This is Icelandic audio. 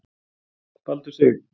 Baldur Sig